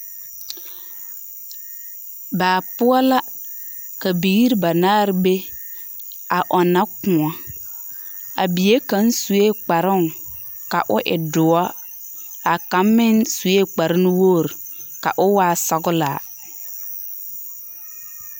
Baa poɔ la, ka biiri banaare be, a ɔnnɔ kõɔ. A bie kaŋ sue kparoŋ, ka o e doɔ. A kaŋ meŋ sue kparenuwogri ka o waa sɔglaa.